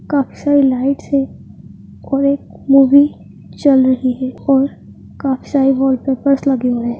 काफी सारी लाइट्स हैं और एक मूवी चल रही है और काफी सारे वॉलपेपर्स लगे हुए हैं।